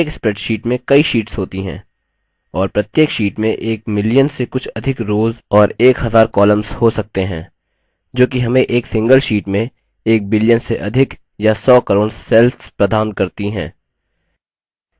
प्रत्येक spreadsheet में कई शीट्स होती हैं और प्रत्येक sheets में एक million से कुछ अधिक rows और एक हजार columns हो सकते हैं जो कि हमें एक single sheets में एक billion से अधिक या सौ crore cells प्रदान करती है